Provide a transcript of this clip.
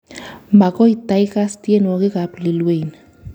Magoi taikaas tienwogik ab Lil Wayne